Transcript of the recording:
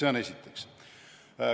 See on esiteks.